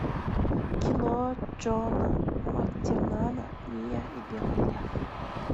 кино джона мактирнана мия и белый лев